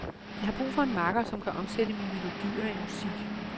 Jeg brug for en makker, som kan omsætte mine melodier i musik.